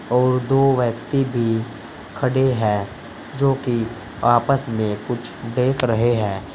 और दो व्यक्ति भी खड़े हैं जो कि आपस में कुछ देख रहे हैं।